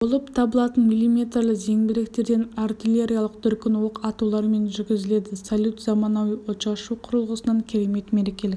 болып табылатын миллиметрлі зеңбіректерден артиллериялық дүркін оқ атулармен жүргізіледі салют заманауи отшашу құрылғысынан керемет мерекелік